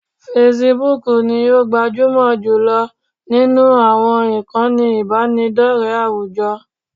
Facebook ni o gbajúmọ̀ jùlọ nínú àwọn ìkànnì ìbánidọ́rẹ̀ẹ́ àwùjọ